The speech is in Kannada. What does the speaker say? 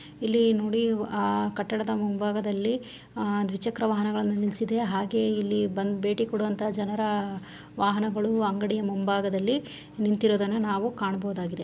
ಇಲ್ಲಿ ನೋಡಿ ಅಹ್ ಕಟ್ಟಡದ ಮುಂಭಾಗದಲ್ಲಿ‌ ಅಹ್ ದ್ವಿಚಕ್ರ ವಾಹನವನ್ನು ನಿಲ್ಸಿದೆ ಹಾಗೆ ಬಂದು ಭೇಟಿ ಕೊಡುವಂತಹ ಜನರ ವಾಹನಗಳು ಅಂಗಡಿಯ ಮುಂಭಾಗದಲ್ಲಿ ನಿಂತಿರೋದನ್ನ ನಾವು ಕಾಣಬಹುದಾಗಿದೆ .